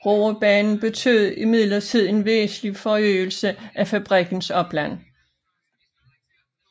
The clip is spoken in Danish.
Roebanen betød imidlertid en væsentlig forøgelse af fabrikkens opland